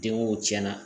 Denko tiɲɛ na